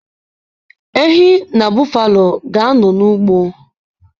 Ehi na bọffalo ga-anọ n'ugbo.